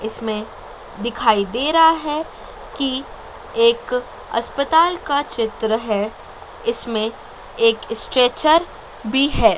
इसमें दिखाई दे रहा है कि एक अस्पताल का चित्र है इसमें एक स्ट्रेचर भी है।